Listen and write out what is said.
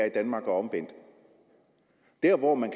i danmark og omvendt der hvor man